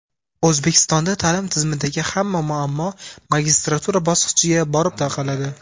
O‘zbekistonda ta’lim tizimidagi hamma muammo magistratura bosqichiga borib taqaladi.